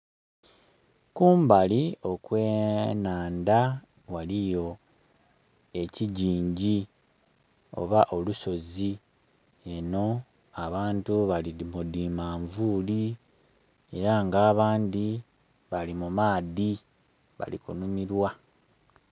Kumbali okw'enandha ghaliyo ekigingi oba olusozi, eno abantu bali mu dhi manvuuli era nga abandhi bali mu maadhi bali kunhumilwa.